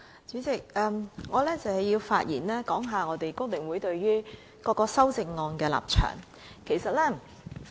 主席，我想發言表達香港工會聯合會對各項修正案的立場。